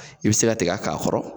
I bɛ se tigɛ k'a kɔrɔ.